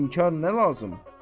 İnkar nə lazım?